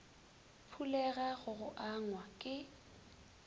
phulega go go angwa ke